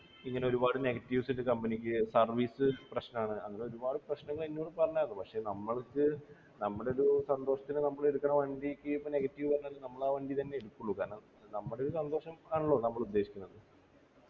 ഇങ്ങനൊരുപാട് negatives ഉണ്ട് company ക്ക് service പ്രശ്നണ് അങ്ങനൊരുപാട് പ്രശ്നങ്ങൾ എന്നോട് പറഞ്ഞാർന്നു പക്ഷെ നമ്മൾക്ക് നമ്മുടൊരു സന്തോഷത്തിനു നമ്മളെടുക്കുന്ന വണ്ടിക്ക് ഇപ്പൊ negative പറഞ്ഞാലും നമ്മളാ വണ്ടി തന്നെ എടുക്കുള്ളു കാരണം നമ്മടെ ഒരു സന്തോഷം നമ്മളുദ്ദേശിക്കുന്നത്